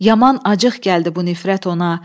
Yaman acıq gəldi bu nifrət ona.